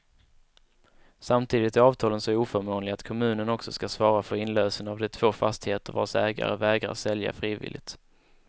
Samtidigt är avtalen så oförmånliga att kommunen också skall svara för inlösen av de två fastigheter, vars ägare vägrar sälja frivilligt.